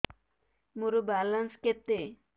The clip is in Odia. ମୋର ବାଲାନ୍ସ କେତେ